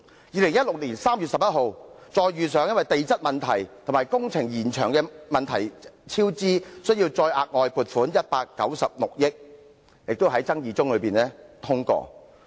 2016年3月11日，又因地質問題及工程延長引致超支而需再額外撥款196億元，這亦是在爭議聲中通過。